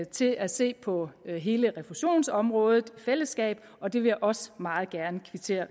til at se på hele refusionsområdet i fællesskab og det vil jeg også meget gerne kvittere